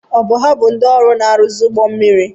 Ọ bụ ha bụ ndị ọrụ na-arụzi ụgbọ mmiri?